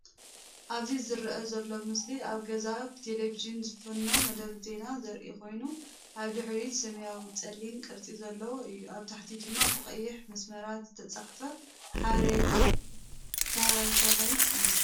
ኣበዚ ዘረአ ዘሎ ምስሊ ኣብ ገዛ ብቴሌቪዥን ዝፍኖ መደብ ዜና ዘርኢ ኮይኑ፡ ኣብ ድሕሪት ሰማያውን ጸሊምን ቅርጺ ዘለዎ እዩ፡ ኣብ ታሕቲ ድማ ብቐይሕ መስመራት ዝተጻሕፈ ሓበሬታ ሳተላይት'ዩ።